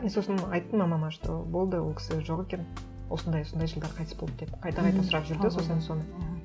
и сосын айттым мамама что болды ол кісі жоқ екен осындай осындай жылда қайтыс болды деп қайта қайта сұрап жүрді сосын соны мхм